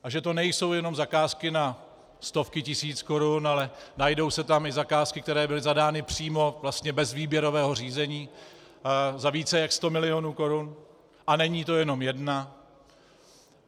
A že to nejsou jenom zakázky na stovky tisíc korun, ale najdou se tam i zakázky, které byly zadány přímo, vlastně bez výběrového řízení, za více jak sto milionů korun, a není to jenom jedna.